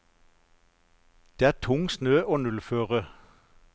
Det er tung snø og nullføre.